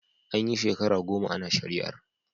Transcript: An yi shekara goma ana shari'ar.